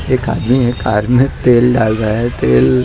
एक आदमी एक कार में तेल डाल रहा है तेल--